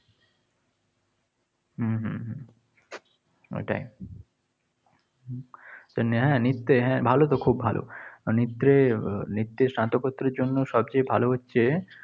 হম হম হম ওইটাই। স্নেহা নৃত্যে হ্যাঁ ভালোতো খুব ভালো। নৃত্যে আহ নৃত্যে স্নাতকোত্তর এর জন্য সবচেয়ে ভালো হচ্ছে,